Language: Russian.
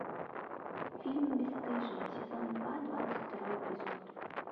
фильм бесстыжие сезон два двадцать второй эпизод